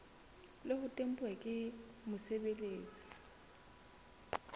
le ho tempuwa ke mosebeletsi